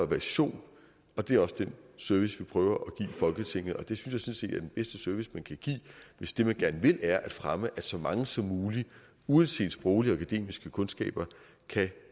version det er også den service vi prøver at give folketinget og det synes jeg den bedste service man kan give hvis det man gerne vil er at fremme at så mange som muligt uanset sproglige og akademiske kundskaber kan